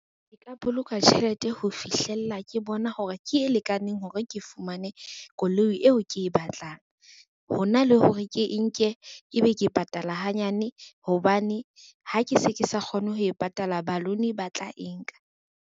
Ke ka boloka tjhelete ho fihlella ke bona hore ke e lekaneng hore ke fumane koloi eo ke e batlang. Hona le hore ke e nke ebe ke patala hanyane hobane ha ke se ke sa kgone ho e patala balloon ba tla e nka.